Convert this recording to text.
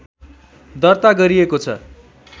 दर्ता गरिएको छ